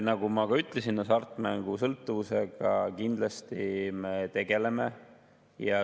Nagu ma ka ütlesin, hasartmängusõltuvusega me kindlasti tegeleme.